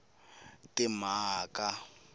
timhaka